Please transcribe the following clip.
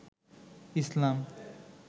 ইসলাম